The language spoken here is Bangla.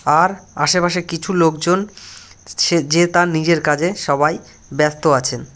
আর আশেপাশে কিছু লোকজন যে তার নিজের কাজে সবাই ব্যাস্ত আছে ।